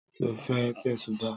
Sọ fẹ́ tẹ̀sùbáà?